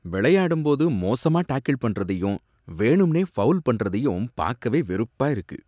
விளையாடும்போது மோசமா டாக்கிள் பண்றதையும் வேணும்னே ஃபௌல் பண்றதையும் பாக்கவே வெறுப்பா இருக்கு.